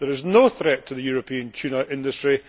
There is no threat to the European tuna industry.